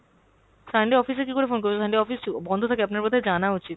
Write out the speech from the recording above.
Sunday office এ কীকরে phone করেছেন? Sunday office ও বন্ধ থাকে আপনার বোধ হয় জানা উচিত।